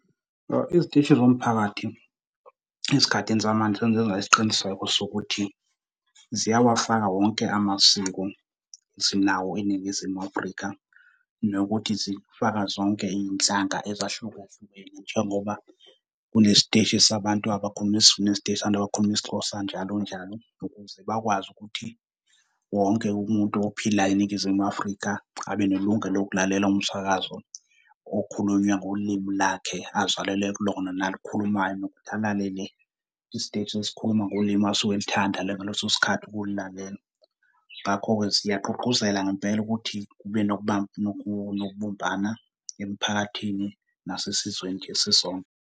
Iziteshi zomphakathi ezikhathini zamanje sezenza isiqiniseko sokuthi ziyawafaka wonke amasiko esinawo eNingizimu Afrika, nokuthi zifaka zonke iy'nhlanga ezahlukahlukene njengoba kunesiteshi sabantu abakhuluma isiZulu, nesiteshi sabantu abakhuluma isiXhosa, njalo njalo, ukuze bakwazi ukuthi wonke umuntu ophila eNingizimu Afrika abe nelungelo lokulalela umsakazo okhulunywa ngolimi lakhe azalelwe kulona nalukhulumayo. Nokuthi alalele isiteshi esikhuluma ngolimi asuke elithanda ngaleso sikhathi ukulilalela. Ngakho-ke siyagqugquzela ngempela ukuthi kube nokubumbana emiphakathini nasesizweni nje sisonke.